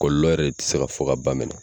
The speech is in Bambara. Kɔlɔlɔ yɛrɛ tɛ se ka fɔ ka ban mɛnɛ.